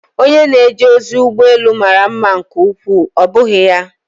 Onye na-eje ozi ụgbọ elu mara mma nke ukwuu, ọ́ bụghị ya?